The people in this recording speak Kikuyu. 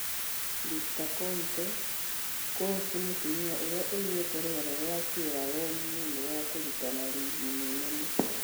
Victor Konte: Kũũcĩ mũtumia ũrĩa ũigĩte rũgano wa Sieraloni nĩũndũ wa kũrũtana rigi-inĩ nene.